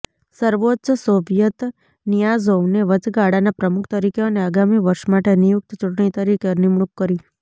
સર્વોચ્ચ સોવિયત નિઆઝોવને વચગાળાના પ્રમુખ તરીકે અને આગામી વર્ષ માટે નિયુક્ત ચૂંટણી તરીકે નિમણૂક કરી